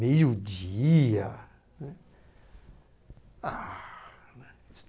Meio-dia? né, Ah, né